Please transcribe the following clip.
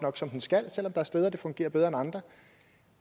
som den skal selv om der er steder den fungerer bedre end andre